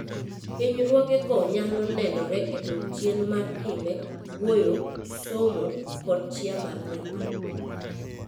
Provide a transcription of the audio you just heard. Hinyruogego nyalo nenore e dok chien mar timbe, wuoyo, somo, kod chia mar nyathi.